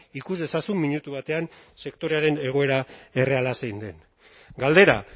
ikus dezazun minutu batean sektorearen egoera erreala zein den galdera